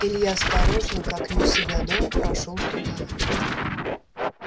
илья осторожно как не у себя дома прошёл туда